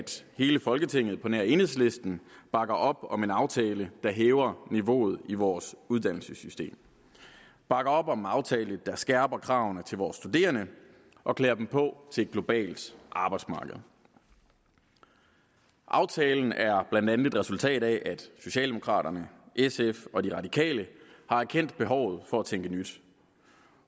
hele folketinget på nær enhedslisten bakker op om en aftale der hæver niveauet i vores uddannelsessystem og bakker op om en aftale der skærper kravene til vores studerende og klæder dem på til et globalt arbejdsmarked aftalen er blandt andet et resultat af at socialdemokraterne sf og de radikale har erkendt behovet for at tænke nyt